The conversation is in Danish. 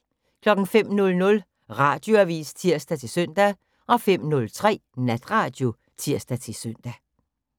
05:00: Radioavis (tir-søn) 05:03: Natradio (tir-søn)